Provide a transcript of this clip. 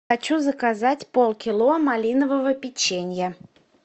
хочу заказать полкило малинового печенья